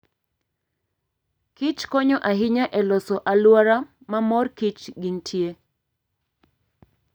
kich konyo ahinya e loso alwora ma mor kich gintie.